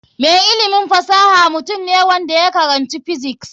Mai ilimin fasaha mutum ne wanda ya karanci physics.